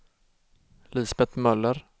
Lisbet Möller